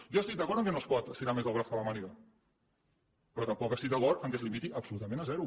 jo estic d’acord que no es pot estirar més el braç que la màniga però tampoc estic d’acord que es limiti absolutament a zero